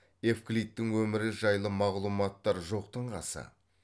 евклидтің өмірі жайлы мағлұматтар жоқтың қасы